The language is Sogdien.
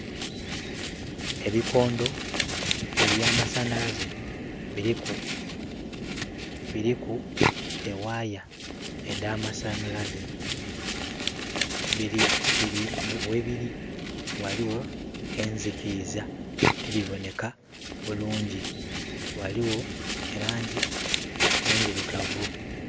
Ebikondo eby'amasanhalaze biliku...biliku e waaya edh'amasanhalaze. Bili bili..ghebiri ghaligho enzikiiza, tibiboneka bulungi. Ghaligho e laangi endhirugavu.